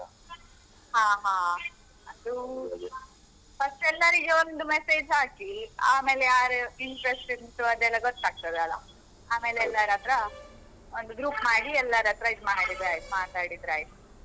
ಹಾ ಹಾ ಅದೂ ಫಸ್ಟ್ ಎಲ್ಲರಿಗೆ ಒಂದು message ಹಾಕಿ, ಆಮೇಲೆ ಯಾರು interest ಉಂಟು ಅದೆಲ್ಲ ಗೊತ್ತಾಗ್ತದಲ್ಲ ಆಮೇಲೆ ಎಲ್ಲರತ್ರ ಒಂದು group ಮಾಡಿ ಎಲ್ಲರತ್ರ ಇದ್ಮಾಡಿದ್ರಾಯ್ತು ಮಾತಾಡಿದ್ರಾಯ್ತು.